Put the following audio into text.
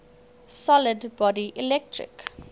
solid body electric